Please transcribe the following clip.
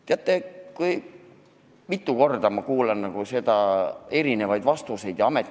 Teate, kui mitu korda ma olen kuulanud erinevaid vastuseid!